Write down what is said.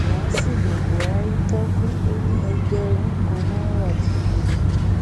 làásìgbò buhari tákú ò ní ẹgbẹrún kan náírà ti lulẹ